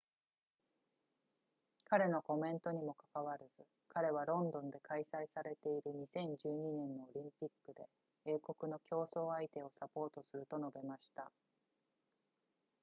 彼のコメントにもかかわらず彼はロンドンで開催されている2012年のオリンピックで英国の競争相手をサポートすると述べました